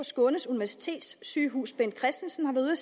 skånes universitetssygehus bent christensen har været